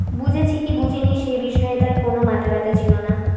বঝেছি কি বুঝিনি সেই বিষয়ে তার কোনো মাথা ব্যাথা ছিল না